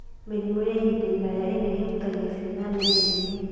Mĩrimũ ya ihinda iraya ĩrĩa ĩhutagia ciana nini nĩ: